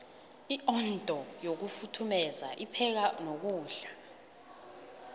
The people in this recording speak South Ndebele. iondo yokufuthumeru ipheka nokudla